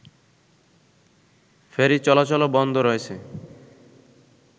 ferry চলাচলও বন্ধ রয়েছে